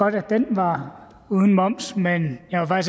var uden moms men jeg var